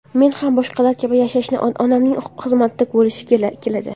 Men ham boshqalar kabi yashashni, onamning xizmatida bo‘lishni keladi.